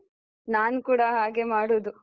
ನಾನು ಕೂಡ ಹಾಗೆ ಮಾಡುದು.